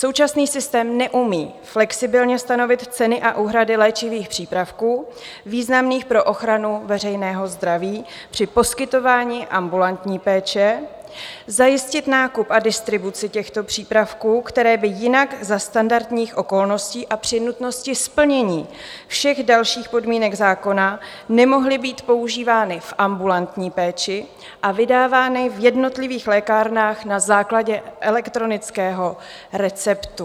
Současný systém neumí flexibilně stanovit ceny a úhrady léčivých přípravků významných pro ochranu veřejného zdraví při poskytování ambulantní péče, zajistit nákup a distribuci těchto přípravků, které by jinak za standardních okolností a při nutnosti splnění všech dalších podmínek zákona nemohly být používány v ambulantní péči a vydávány v jednotlivých lékárnách na základě elektronického receptu.